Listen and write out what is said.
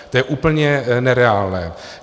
To je úplně nereálné.